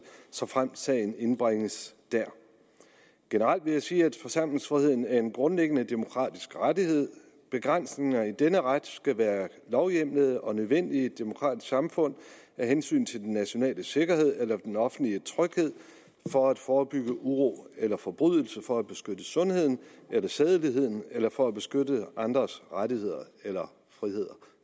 såfremt sagen indbringes der generelt vil jeg sige at forsamlingsfriheden er en grundlæggende demokratisk rettighed begrænsninger i denne ret skal være lovhjemlede og nødvendige i et demokratisk samfund af hensyn til den nationale sikkerhed eller den offentlige tryghed for at forebygge uro eller forbrydelse for at beskytte sundheden eller sædeligheden eller for at beskytte andres rettigheder eller friheder